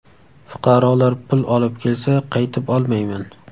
Fuqarolar pul olib kelsa, qaytib olmayman.